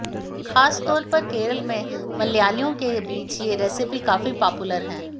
खास तौर पर केरल में मलयालियों के बीच ये रेसिपी काफी पॉपुलर है